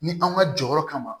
Ni an ka jɔyɔrɔ kama